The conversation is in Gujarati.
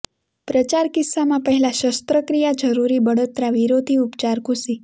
પ્રચાર કિસ્સામાં પહેલાં શસ્ત્રક્રિયા જરૂરી બળતરા વિરોધી ઉપચાર ઘુસી